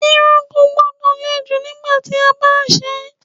Irun kò gbọ́dọ̀ le jù nígbà tí a bá ń ṣe irun.